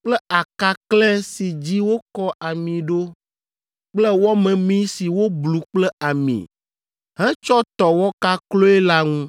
kple akaklɛ̃ si dzi wokɔ ami ɖo kple wɔ memee si woblu kple ami hetsɔ tɔ wɔkakloe la ŋu.